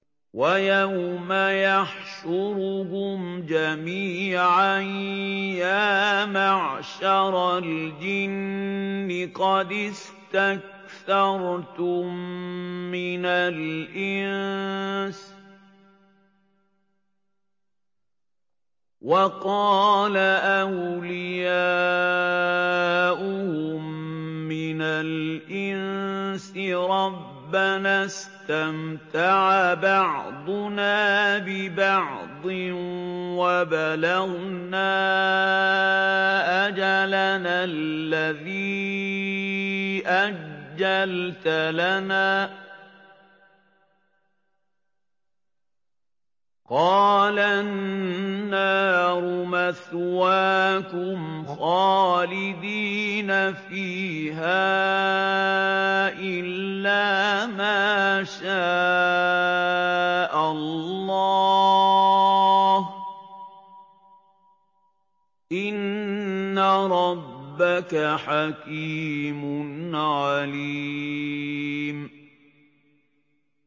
وَيَوْمَ يَحْشُرُهُمْ جَمِيعًا يَا مَعْشَرَ الْجِنِّ قَدِ اسْتَكْثَرْتُم مِّنَ الْإِنسِ ۖ وَقَالَ أَوْلِيَاؤُهُم مِّنَ الْإِنسِ رَبَّنَا اسْتَمْتَعَ بَعْضُنَا بِبَعْضٍ وَبَلَغْنَا أَجَلَنَا الَّذِي أَجَّلْتَ لَنَا ۚ قَالَ النَّارُ مَثْوَاكُمْ خَالِدِينَ فِيهَا إِلَّا مَا شَاءَ اللَّهُ ۗ إِنَّ رَبَّكَ حَكِيمٌ عَلِيمٌ